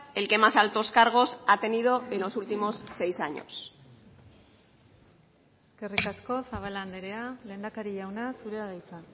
el que más altos cargos ha tenido en los últimos seis años eskerrik asko zabala andrea lehendakari jauna zurea da hitza